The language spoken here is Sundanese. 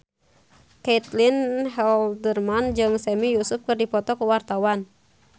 Caitlin Halderman jeung Sami Yusuf keur dipoto ku wartawan